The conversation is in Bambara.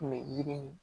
Kun bɛ yiri